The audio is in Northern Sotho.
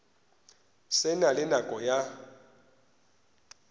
se na le nako ya